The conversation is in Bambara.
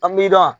An b'i dan